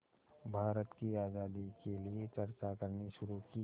भारत की आज़ादी के लिए चर्चा करनी शुरू की